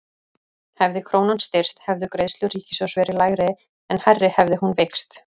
Hefði krónan styrkst hefðu greiðslur ríkissjóðs verið lægri en hærri hefði hún veikst.